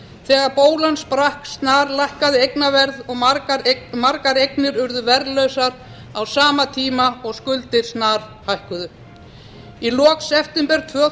þegar bólan sprakk snarlækkaði eignaverð og margar eignir urðu verðlausar á sama tíma og skuldir snarhækkuðu í lok september tvö þúsund